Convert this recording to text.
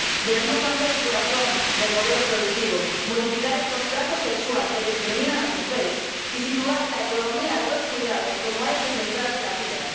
Debemos cambiar el corazón del modelo productivo, modificar el contrato sexual que discrimina a las mujeres y situar la economía de los cuidados como eje central de la vida.